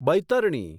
Baitarani